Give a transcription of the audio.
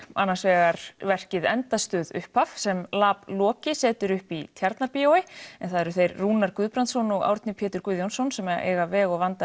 annars vegar verkið endastöð upphaf sem lab Loki setur upp í Tjarnarbíói en það eru þeir Rúnar Guðbrandsson og Árni Pétur Guðjónsson sem eiga veg og vanda